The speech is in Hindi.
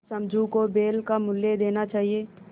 समझू को बैल का मूल्य देना चाहिए